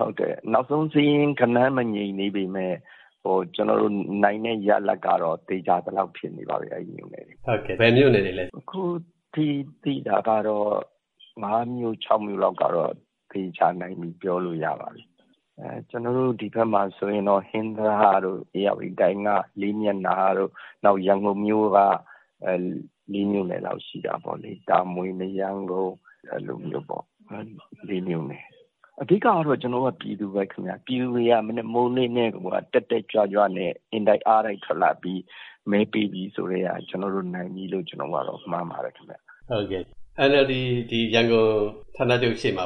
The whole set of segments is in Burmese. ဟုတ်တယ်၊ နောက်ဆုံးစာရင်း ဂဏန်းမငြိမ်သေးပေမယ့် ကျနော်တို့ နိုင်တဲ့ရလဒ်ကတော့ သေချာသလောက် ဖြစ်နေပါပြီ၊ အဲဒီမြို့နယ်တွေမှာ။ ဘယ်မြို့နယ်တွေလဲ။ အခုထိသိတာ ၅ မြို့၊ ၆ မြို့လောက်ကတော့ သေချာနိုင်ပြီ ပြောလို့ရပါတယ်။ ဒီဘက်မှာဆိုရင် ဟင်္သာတတို့၊ ဧရာဝတီတိုင်းက လေးမျက်နှာတို့၊ နောက် ရန်ကုန်မြို့က ၄ မြို့နယ်လောက် ရှိတာပေါ့လေ။ တာမွေ၊ မရမ်းကုန်း အဲလိုမျိုးပေါ့။ အဓိကတော့ ကျနော်တို့က ပြည်သူပဲခင်ဗျ၊ ပြည်သူတွေက မနက်မိုးလင်းကတည်းကိုက တက်တက်ကြွကြွနဲ့ အင်တိုက်အားတိုက် ထွက်လာပြီး မဲပေးပြီဆိုကတည်းက ကျနော်တို့နိုင်လို့ မှန်းပါတယ်။ NLD ရန်ကုန် ဌာနချုပ်ရှေ့မှာ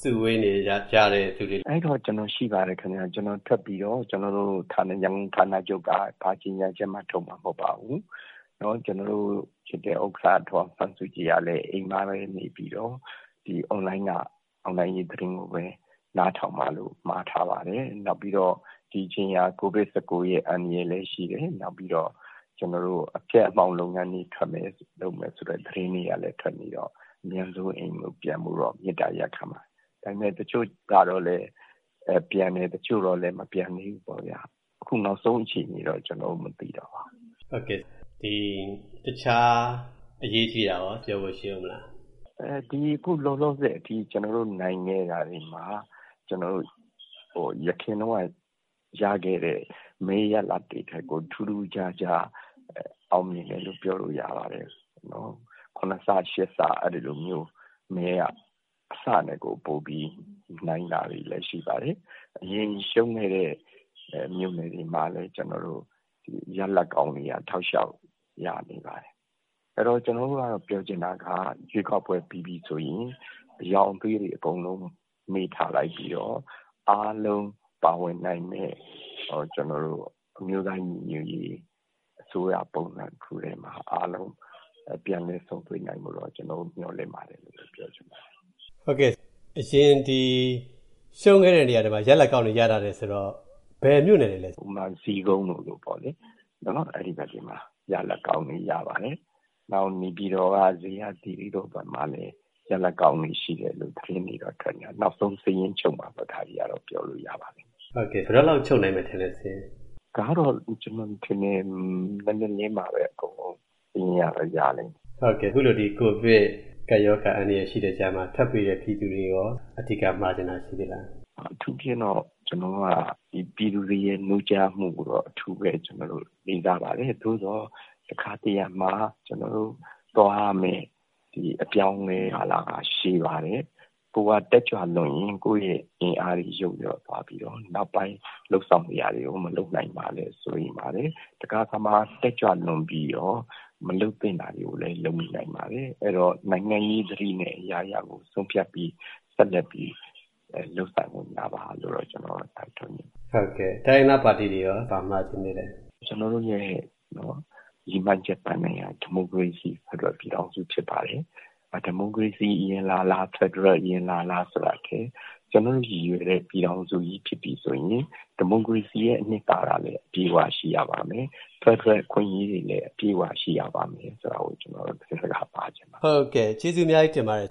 စုဝေးနေကြတဲ့သူတွေ။ အဲဒီတုန်းက ကျနော်ရှိပါတယ်။ ကျနော်ထွက်ပြီးတော့ ရန်ကုန်ဌာနချုပ်က ဘာကြေညာချက်မှ ထုတ်မှာမဟုတ်ပါဘူး။ ကျနော်တို့ချစ်တဲ့ ဥက္ကဋ္ဌ ဒေါ်အောင်ဆန်းစုကြည်ကလည်း အိမ်မှာပဲနေပြီး အွန်လိုင်းက အောင်နိုင်ရေး သတင်းကိုပဲ နားထောင်ပါလို့ မှာထားပါတယ်။ နောက်ပြီးတော့ ဒီအချိန်က COVID-19 ရဲ့ အန္တရာယ်လည်းရှိတယ်။ ပြီးတော့ အဖျက်အမှောင့် လုပ်ငန်းတွေ လုပ်မယ်ဆိုတဲ့ သတင်းတွေကလည်း ထွက်နေတော့ အမြန်ဆုံး အိမ်ကိုပြန်ဖို့ မေတ္တာရပ်ခံပါတယ်။ ဒါပေမယ့် တချို့တော့လည်း ပြန်တယ်၊ တချို့တော့လည်း မပြန်သေးဘူးပေါ့ဗျာ။ အခု နောက်ဆုံးအခြေအနေတော့ ကျနော် မသိတော့ပါဘူး။ တခြား အရေးကြီးတာရော ပြောဖို့ရှိဦးမလား။ အခုလောလောဆယ်အထိ ကျနော်တို့နိုင်တဲ့ နေရာတွေမှာ အရင်တုန်းက ရခဲ့တဲ့ မဲရလဒ်တွေထက်ကို ထူးထူးခြားခြား အောင်မြင်တယ်လို့ ပြောလို့ရပါတယ်။ ၇ ဆ၊ ၈ ဆ အဲဒီလိုမျိုး မဲက အဆနဲ့ကို ပိုပြီး နိုင်တာတွေလည်း ရှိပါတယ်။ အရင်ရှုံးခဲ့တဲ့ မြို့နယ်တွေမှာလည်း ကျနော်တို့ ရလဒ်ကောင်းတွေ တောက်လျှောက် ရနေပါတယ်။ အဲတော့ ကျနော်တို့ကတော့ ပြောချင်တာက ရွေးကောက်ပွဲ ပြီးပြီဆိုရင် အရောင်အသွေးတွေ အကုန်လုံး မေ့ထားလိုက်ပြီးတော့ အားလုံးပါဝင်နိုင်မယ့် အမျိုးသားညီညွတ်ရေး အစိုးရပုံစံ တခုတည်းမှာ အားလုံး ပြန်လည်ဆုံတွေ့နိုင်ဖို့ မျှော်လင့်ပါတယ်လို့ ပြောချင်ပါတယ်။ အရင်ရှုံးခဲ့တဲ့ နေရာတွေမှာ ရလဒ်ကောင်းတွေ ရလာတယ်ဆိုတော့ ဘယ်မြို့နယ်တွေလဲ။ ဥပမာ ဇီးကုန်းလိုမျိုးပေါ့လေ၊ အဲဒီဘက်တွေမှာ ရလဒ်ကောင်းတွေ ရပါတယ်။ နောက် နေပြည်တော်က ဇေယျာသီရိဘက်မှာလည်း ရလဒ်ကောင်းတွေ ရှိတယ်လို့ သတင်းတွေတော့ ထွက်နေတယ်။ နောက်ဆုံး စာရင်းချုပ်မှပဲ ဒါတွေကတော့ ပြောလို့ရပါမယ်။ စာရင်း ဘယ်တော့လောက်ချုပ်နိုင်မယ်ထင်လဲ။ ဒါကတော့ ကျနော်ထင်တယ် မနက်လင်းမှပဲ အကုန်လုံး စာရင်းကတော့ ရလိမ့်မယ်။ အခုလို ကိုဗစ် ကပ်ရောဂါ အန္တရာယ်ရှိတဲ့ကြားမှာ ထပ်ပေးတဲ့ ပြည်သူတွေကိုရော အဓိကမှာချင်တာ ရှိသေးလား။ အထူးသဖြင့်တော့ ကျနော်က ပြည်သူတွေရဲ့ နိုးကြားမှုကို အထူးပဲ လေးစားပါတယ်။ သို့သော် တခါတရံမှာ ကျောနာ်တို့သွားရမယ့် အပြောင်းအလဲကာလဟာ ရှည်ပါတယ်။ ကိုယ်က တက်ကြွလွန်းရင် ကိုယ့်ရဲ့ အင်အားတွေ ယုတ်လျော့သွားပြီးတော့ နောက်ပိုင်း လုပ်ဆောင်စရာတွေကို မလုပ်နိုင်မှာလည်း စိုးရိမ်ပါတယ်။ တခါတခါမှာ တက်ကြွလွန်ပြီးတော့ မလုပ်သင့်တာတွေကိုလည်း လုပ်မိနိုင်ပါတယ်။ အဲဒီတော့ နိုင်ငံရေးသတိနဲ့ အရာရာကို ဆုံးဖြတ်ပြီး ဆက်လက်ပြီး လုပ်ဆောင်ကြပါလို့တော့ ကျနော် တိုက်တွန်းချင်ပါတယ်။ တိုင်းရင်းသားပါတီတွေကိုရော ဘာမှာချင်သေးလဲ။ ကျနော်တို့ရဲ့ ရည်မှန်းချက်ပန်းတိုင်က ဒီမိုကရေစီ ဖက်ဒရယ်ပြည်ထောင်စု ဖြစ်ပါတယ်။ ဒီမိုကရေစီ အရင်လာလာ၊ ဖက်ဒရယ် အရင်လာလာ ဆိုတာထက် ကျနော်တို့ရည်ရွယ်တဲ့ ပြည်ထောင်စုကြီး ဖြစ်ပြီဆိုရင် ဒီမိုကရေစီရဲ့ အနှစ်သာရလည်း အပြည့်အဝ ရှိရပါမယ်။ ဖက်ဒရယ် အခွင့်အရေးတွေလည်း အပြည့်အဝ ရှိရပါမယ် ဆိုတာကို ကျနော်တို့ သတင်းစကား ပါးချင်ပါတယ်။ ကျေးဇူးအများကြီးတင်ပါတယ်